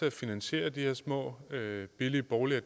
at finansiere de her små billige boliger